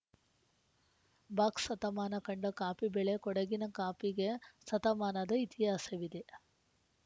box ಸತಮಾನ ಕಂಡ ಕಾಪಿ ಬೆಳೆ ಕೊಡಗಿನ ಕಾಪಿಗೆ ಸತಮಾನದ ಇತಿಹಾಸವಿದೆ